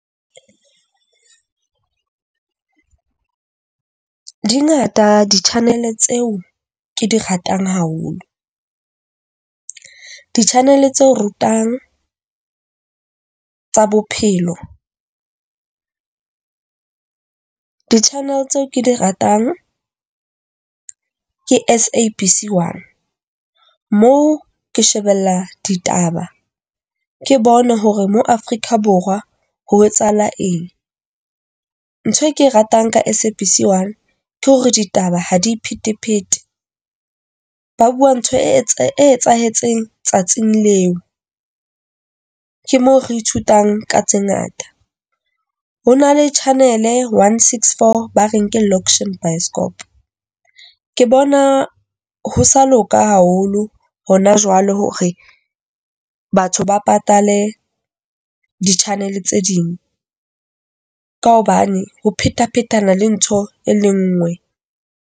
Dingata ditjhaneleng tseo ke di ratang haholo. Ditjhaneleng tseo rutang tsa bophelo. Di-channel tseo ke di ratang ke SABC 1, mo ke shebella ditaba, ke bone hore mo Afrika Borwa ho etsahala eng. Ntho e ke e ratang ka SABC 1, ke hore ditaba ha di iphetephete. Ba bua ntho e etsahetseng tsatsing leo. Ke mo re ithutang ka tse ngata. Ho na le channel one six four, ba re ke loxion by Skopo . Ke bona ho sa loka haholo rona jwalo hore batho ba patale di-channel tse ding ka hobane ho phethaphethana le ntho e le nngwe.